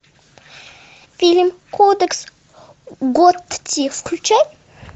фильм кодекс готти включай